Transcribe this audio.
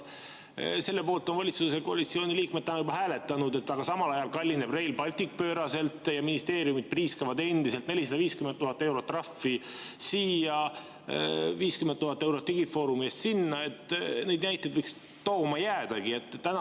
Selle poolt on valitsuskoalitsiooni liikmed hääletanud, aga samal ajal kallineb Rail Baltic pööraselt ja ministeeriumid priiskavad endiselt: 450 000 eurot trahvi siia, 50 000 eurot digifoorumi eest sinna, neid näiteid võiks tooma jäädagi.